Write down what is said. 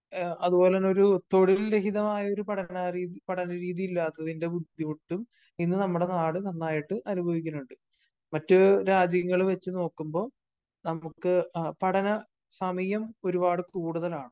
അതുപോലെ തന്നെ ഒരു തൊഴിൽ രഹിതമായ ഒരു പഠന രീത് പഠന രീതി ഇല്ലാത്തത്തിന്റെ ബുദ്ധിമുട്ടും ഇന്ന് നമ്മുടെ നാട് നന്നായിട്ട് അനുഭവിക്കുന്നുണ്ട്. മറ്റ് രാജ്യങ്ങള് വച്ച് നോക്കുമ്പോ നമുക്ക് പഠന സമയം ഒരുപാട് കൂടുതലാണ്.